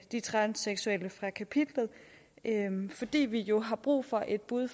de transseksuelle fra kapitlet fordi vi jo har brug for et bud